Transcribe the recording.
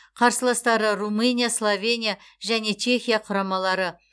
қарсыластары румыния словения және чехия құрамалары